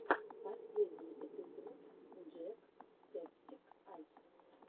последний эпизод джек септик ай